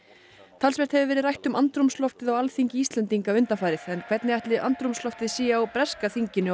talsvert hefur verið rætt um andrúmsloftið á Alþingi Íslendinga undanfarið en hvernig ætli andrúmsloftið sé á breska þinginu á